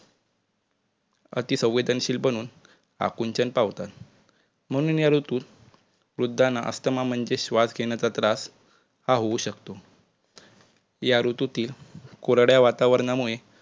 अति संवेदशील बनून आकुंचन पावतात म्हणून या ऋतुत वृद्धांना अस्थमा म्हणजे श्वास घेण्याचा त्रास हा होऊ शकतो. या ऋतुतील कोरड्या वातावरणामुळे